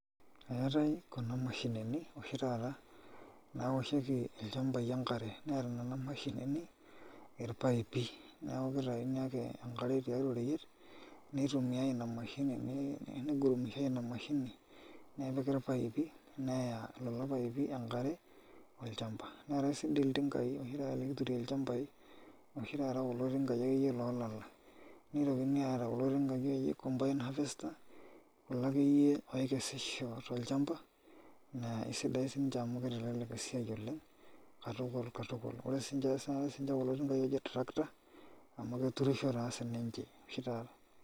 Eetai kuna mashinini oshi taata naaoshieki ilchambai enkare neeta nena mashinini irpaipi, neeku kitayuni ake enkare tiatua oreyiet nitumiyai ina mashini,, nigurumishiai ina mashini nepiki irpaipi neya lelo paipi enkare olchamba, neetai sininche iltingaai oshi taata likiturie ilchambai oshi taata kulo tingaai loolala nitokini aata kulo tingai akeyie combined harvester kulo akeyie ookesisho tolchamba naa sidai siinche amu kitelelek esiai oleng' katukul katul ore siinche kulo tingaai ooji tractor amu keturrisho taa sininche oshi taata.